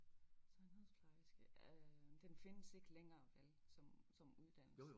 Sundhedsplejerske øh den findes ikke længere vel? Som uddannelse